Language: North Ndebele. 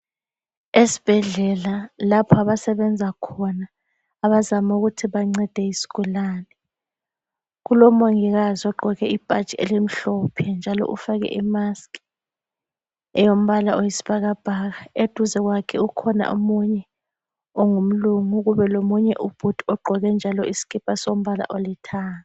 Esibhedlela lapho abasebenza khona abazaama ukuthi bancede isigulane kulomongikazi ogqqoke ibhatshi elimhlophe njalo ufake imask eyombala oyisibhakabhaka eduze kwakhe ukhona omunye ongumlungu kubelomunye ubhudi ogqqoke njalo isikipa sombala olithanga.